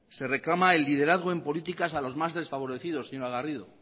se reclama el liderazgo en políticas a los más desfavorecidos señora garrido